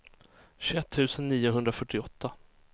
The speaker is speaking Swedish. tjugoett tusen niohundrafyrtioåtta